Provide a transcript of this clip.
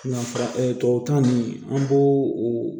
Na fara tubabukan an b'o o